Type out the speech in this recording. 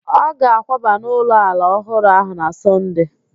Ọ ga-akwaba n'ụlọ ala ọhụrụ ahụ na Sọnde